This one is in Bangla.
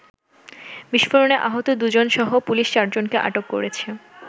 বিস্ফোরণে আহত দু’জনসহ পুলিশ চারজনকে আটক করেছে।